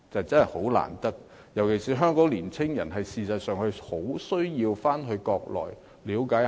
事實上，香港年青人尤其需要到國內了解一下。